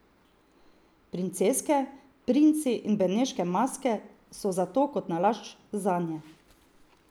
Princeske, princi in beneške maske so zato kot nalašč zanje.